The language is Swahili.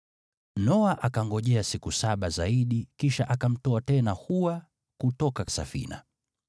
Noa akangojea siku saba zaidi kisha akamtoa tena hua kutoka safina.